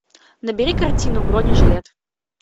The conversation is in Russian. набери картину бронежилет